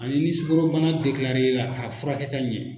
Ani ni sukaro bana i la k'a furakɛ ka ɲɛ.